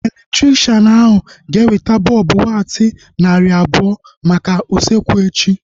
Elektrikshan ahu ga-eweta bọlbụ watti narị abụọ maka usekwu echi